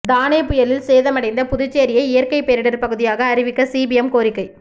தானே புயலில் சேதமடைந்த புதுச்சேரியை இயற்கை பேரிடர் பகுதியாக அறிவிக்க சிபிஎம் கோரிக்கை